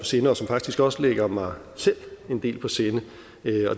sinde og som faktisk også ligger mig selv en del på sinde